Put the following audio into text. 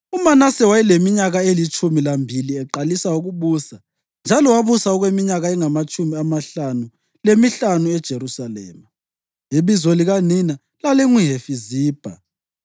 UManase wayeleminyaka elitshumi lambili eqalisa ukubusa njalo wabusa okweminyaka engamatshumi amahlanu lemihlanu eJerusalema. Ibizo likanina lalinguHefizibha.